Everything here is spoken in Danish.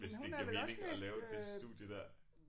Hvis det giver mening at lave det studie dér